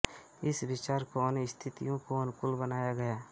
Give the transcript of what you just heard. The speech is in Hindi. इस विचार को अन्य स्थितियों के अनुकूल बनाया गया